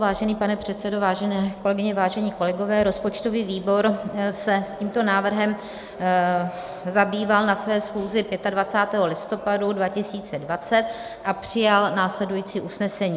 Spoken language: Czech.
Vážený pane předsedo, vážené kolegyně, vážení kolegové, rozpočtový výbor se s tímto návrhem zabýval na své schůzi 25. listopadu 2020 a přijal následující usnesení.